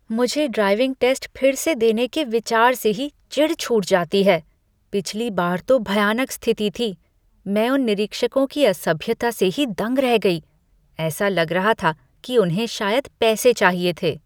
मुझे driving test फिर से देने के विचार से ही चिढ़ छूट जाती है। पिछली बार तो भयानक स्थिति थी। मैं उन निरीक्षकों की असभ्यता से ही दंग रह गई। ऐसा लग रहा था कि उन्हें शायद पैसे चाहिए थे।